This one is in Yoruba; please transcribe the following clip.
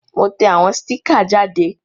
Mo te àwon sticker jáde